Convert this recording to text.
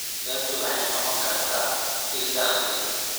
Beertu waxay noqon kartaa il dakhli.